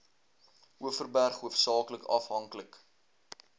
overberg hoofsaaklik afhanklik